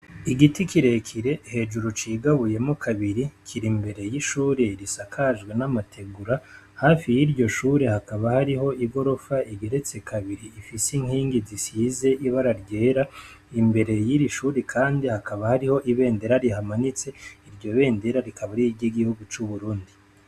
Igiti kirekire hejuru cigabuyemo kabiri kira imbere y'ishure risakajwe n'amategura hafi y'iryo shure hakaba hariho igorofa igeretse kabiri ifise inkingi zisize ibararyera imbere y'iri shuri, kandi hakaba hariho ibendera rihamanitse iryo bendera rikaba riryo igihugu c'uburundi.